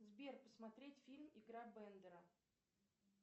сбер посмотреть фильм игра бендера